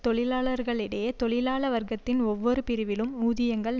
தொழிலாளர்களிடையே தொழிலாள வர்க்கத்தின் ஒவ்வொரு பிரிவிலும் ஊதியங்கள்